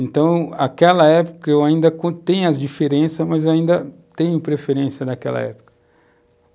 Então, aquela época eu ainda, tenho as diferenças, mas ainda tenho preferência daquela época.